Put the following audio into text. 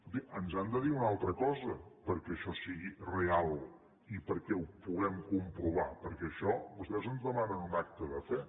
escolti ens han de dir una altra cosa perquè això sigui real i perquè ho puguem comprovar perquè vostès ens demanen un acte de fe